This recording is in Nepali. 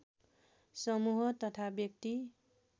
समूह तथा व्यक्ति